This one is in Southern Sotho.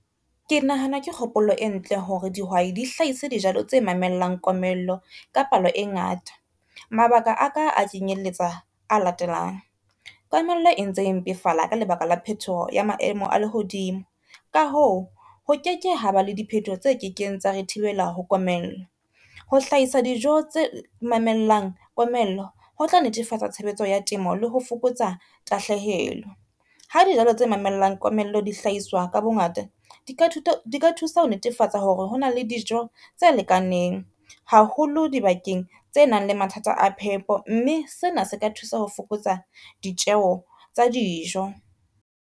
Ke nahana ke kgopolo e ntle hore dihwai di hlahise dijalo tse mamellang komello ka palo e ngata. Mabaka aka a kenyelletsa a latelang, komello e ntse e mpefala ka lebaka la phetoho ya maemo a lehodimo ka hoo ho ke ke ha ba le diphetoho tse ke keng tsa re thibela ho komello. Ho hlahisa dijo tse mamellang komello ho tla netefatsa tshebetso ya temo, le ho fokotsa tahlehelo. Ha dijalo tse mamellang komello dihlahiswa ka bongata di ka thusa ho netefatsa hore hona le dijo tse lekaneng haholo dibakeng tse nang le mathata a phepo, mme sena se ka thusa ho fokotsa ditjeho tsa dijo.